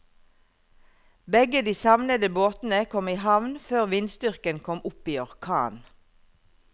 Begge de savnede båtene kom i havn før vindstyrken kom opp i orkan.